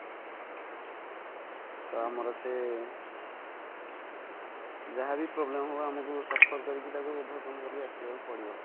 ତ ଆମର ସେ ଯାହାବି problem ହବ ଆମକୁ suffer କରିକି ତାକୁ overcome କରିକି ଆସିବା କୁ ପଡିବ